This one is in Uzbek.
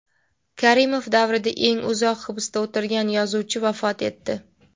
Karimov davrida eng uzoq hibsda o‘tirgan yozuvchi vafot etdi.